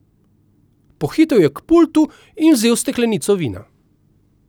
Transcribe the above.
Pohitel je k pultu in vzel steklenico vina.